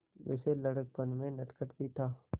वैसे लड़कपन में नटखट भी था